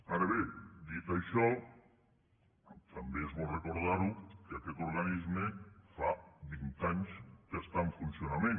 ara bé dit això també és bo recordarho que aquest organisme fa vint anys que està en funcionament